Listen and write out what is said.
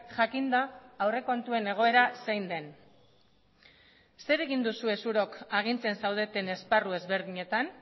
jakinda aurrekontuen egoera zein den zer egin duzue zuok agintzen zaudeten esparru ezberdinetan